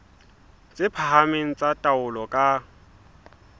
tse phahameng tsa taolo ka